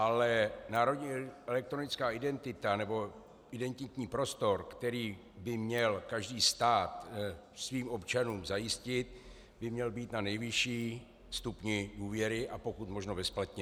Ale národní elektronická identita, nebo identitní prostor, který by měl každý stát svým občanům zajistit, by měl být na nejvyšším stupni důvěry a pokud možno bezplatně.